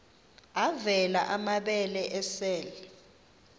avela amabele esel